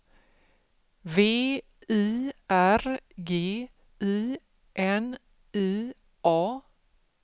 V I R G I N I A